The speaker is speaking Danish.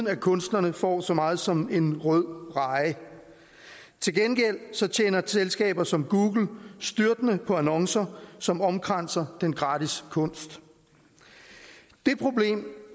at kunstnerne får så meget som en rød reje til gengæld tjener selskaber som google styrtende på annoncer som omkranser den gratis kunst det problem